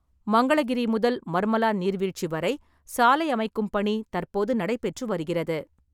மங்களகிரி முதல் மர்மலா நீர்வீழ்ச்சி வரை சாலை அமைக்கும் பணி தற்போது நடைபெற்று வருகிறது.